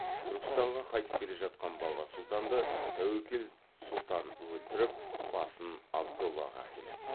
түркістанға қайтып келе жатқан баба сұлтанды тәуекел сұлтан өлтіріп басын абдоллаға әкеледі